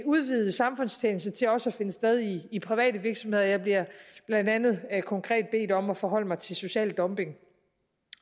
udvide samfundstjeneste til også at finde sted i private virksomheder jeg bliver blandt andet konkret bedt om at forholde mig til social dumping